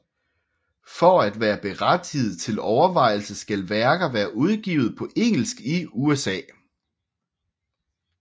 For at være berettiget til overvejelse skal værker være udgivet på engelsk i USA